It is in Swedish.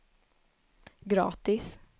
gratis